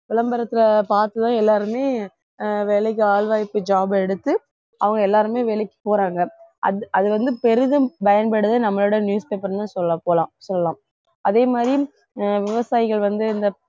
விளம்பரத்தை பார்த்து தான் எல்லாருமே ஆஹ் வேலைக்கு ஆள்வாய்ப்பு job எடுத்து அவங்க எல்லாருமே வேலைக்கு போறாங்க அது அது வந்து பெரிதும் பயன்படுது நம்மளோட newspaper ன்னுதான் சொல்லப்போலாம் சொல்லலாம் அதே மாதிரி விவசாயிகள் வந்து இந்த